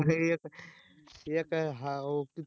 एक एक